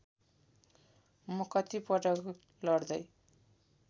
म कतिपटक लड्दै